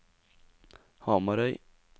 Hamarøy